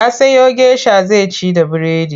Ya siyo gesha zai ci da biredi.